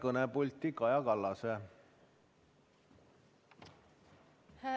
Aitäh!